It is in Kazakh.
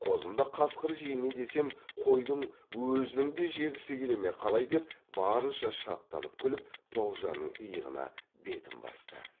қозымды қасқыр жей ме десем қойдың өзінің де жегісі келе ме қалай деп барынша шаттанып күліп тоғжанның иығына бетін басты